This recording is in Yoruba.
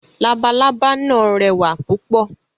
Labalábá náà rẹwà púpọ̀.